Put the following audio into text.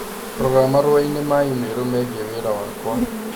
Rora marũa ma i-mīrū megiĩ wĩra wakwa